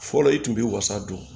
Fɔlɔ i tun bɛ wasa don